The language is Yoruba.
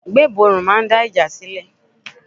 Gbébọrùn máa ń dá ìjà sílẹ̀.